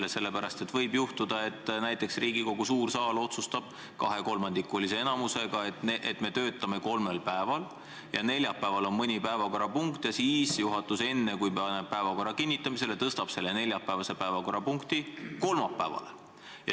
Seda sellepärast, et võib juhtuda, et näiteks Riigikogu suur saal otsustab kahekolmandikulise enamusega, et me töötame kolmel päeval, ja kui neljapäeval on mõni päevakorrapunkt, siis juhatus, enne kui paneb päevakorra kinnitamisele, tõstab need neljapäevased päevakorrapunktid kolmapäevale.